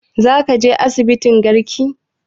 Za ka je asibitin garki?